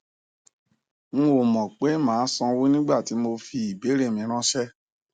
n ò mọ pé màá sanwó nígbà tí mo fi ìbéèrè mi ráńṣẹ